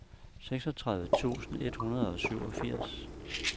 seksogtredive tusind et hundrede og syvogfirs